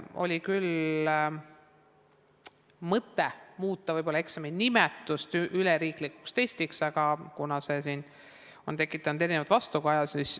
Oli küll mõte muuta võib-olla eksami nimetust, muuta see üleriiklikuks testiks, aga see on tekitanud erinevat vastukaja.